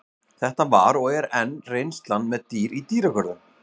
Þetta var og er enn reynslan með dýr í dýragörðum.